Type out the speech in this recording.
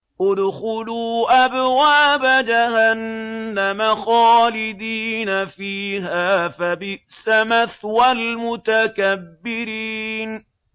ادْخُلُوا أَبْوَابَ جَهَنَّمَ خَالِدِينَ فِيهَا ۖ فَبِئْسَ مَثْوَى الْمُتَكَبِّرِينَ